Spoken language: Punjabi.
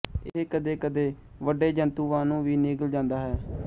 ਇਹ ਕਦੇ ਕਦੇ ਵੱਡੇਜੰਤੁਵਾਂਨੂੰ ਵੀ ਨਿਗਲ ਜਾਂਦਾ ਹੈ